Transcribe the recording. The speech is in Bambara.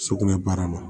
Sugunɛ baara la